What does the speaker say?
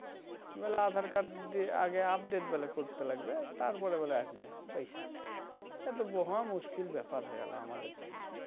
বলে aadhar card আগে update করতে লাগবে তার পরে বলে আসবে পয়সা এতো মহা মুশকিল ব্যাপার হয়ে গেলো আমাদের জন্যে